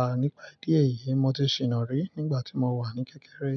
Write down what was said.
À, nípa ìdí èyí, mo ti ṣìnà rí nígbà tí mo wà ní kékeré.